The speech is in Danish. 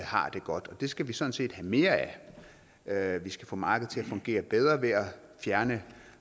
har det godt det skal vi sådan set have mere af vi skal få markedet til at fungere bedre ved at fjerne